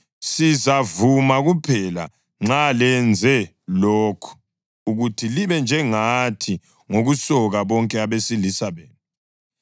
Sizavuma kuphela nxa lenze lokhu: ukuthi libe njengathi ngokusoka bonke abesilisa benu.